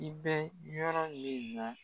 I bɛ yɔrɔ min na